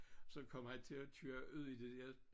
Så kom han til at køre ud i det der